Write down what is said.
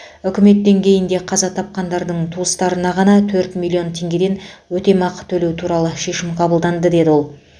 үкімет деңгейінде қаза тапқандардың туыстарына ғана төрт миллион теңгеден өтемақы төлеу туралы шешім қабылданды деді ол